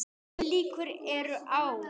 Minni líkur eru á